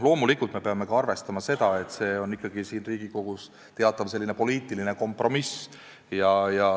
Loomulikult me peame arvestama ka seda, et see on siin Riigikogus ikkagi teatav poliitiline kompromiss.